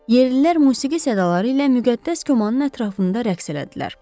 Yerlilər musiqi sədaları ilə müqəddəs komanın ətrafında rəqs elədilər.